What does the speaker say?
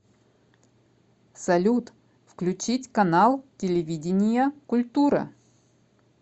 салют включить канал телевидения культура